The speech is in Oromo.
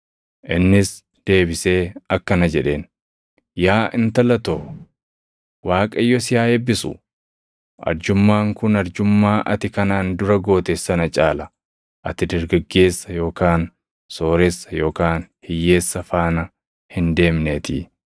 Innis deebisee akkana jedheen; “Yaa intala too, Waaqayyo si haa eebbisu; arjummaan kun arjummaa ati kanaan dura goote sana caala; ati dargaggeessa yookaan sooressa yookaan hiyyeessa faana hin deemneetii.